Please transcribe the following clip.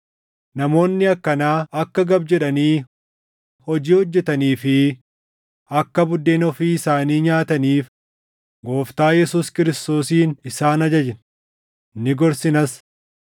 Namoonni akkanaa akka gab jedhanii hojii hojjetanii fi akka buddeena ofii isaanii nyaataniif Gooftaa Yesuus Kiristoosiin isaan ajajna; ni gorsinas.